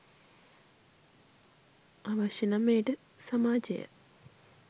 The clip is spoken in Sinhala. අවශ්‍ය නම් එයට සමාජය